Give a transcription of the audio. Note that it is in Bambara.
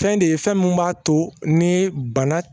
Fɛn de ye fɛn min b'a to ni bana